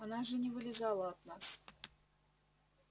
она же не вылезала от нас